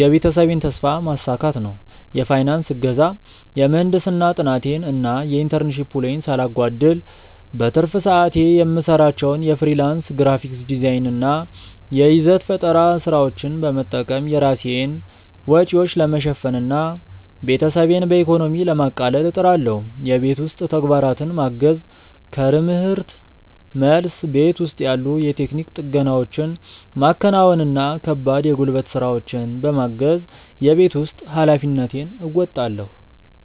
የቤተሰቤን ተስፋ ማሳካት ነው። የፋይናንስ እገዛ፦ የምህንድስና ጥናቴን እና የኢንተርንሺፕ ውሎዬን ሳላጓድል፣ በትርፍ ሰዓቴ የምሰራቸውን የፍሪላንስ ግራፊክ ዲዛይን እና የይዘት ፈጠራ ስራዎች በመጠቀም የራሴን ወጪዎች ለመሸፈን እና ቤተሰቤን በኢኮኖሚ ለማቃለል እጥራለሁ። የቤት ውስጥ ተግባራትን ማገዝ፦ ከርምህርት መልስ፣ ቤት ውስጥ ያሉ የቴክኒክ ጥገናዎችን ማከናወን እና ከባድ የጉልበት ስራዎችን በማገዝ የቤት ውስጥ ኃላፊነቴን እወጣለሁ።